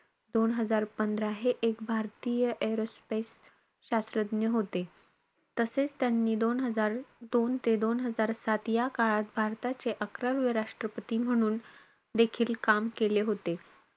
दोन हजार पंधरा हे एक भारतीय aerospace शास्त्रज्ञ होते. तसेचं, त्यांनी दोन हजार दोन ते दोन हजार सात या काळात भारताचे अकरावे राष्ट्रपती म्हणून काम केले होते.